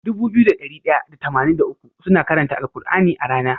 Dubu biyu da dari daya da tamanin da uku suna karanta al kur'ani a rAna